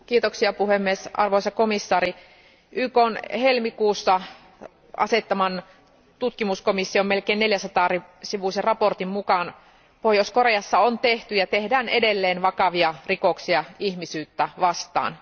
Arvoisa puhemies, arvoisa komission jäsen, YKn helmikuussa asettaman tutkimuskomission melkein 400 sivuisen raportin mukaan Pohjois Koreassa on tehty ja tehdään edelleen vakavia rikoksia ihmisyyttä vastaan.